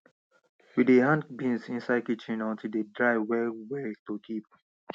we dey hang beans inside kitchen until dem dry well well to kip